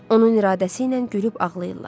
Onun iradəsi ilə gülüb ağlayırlar.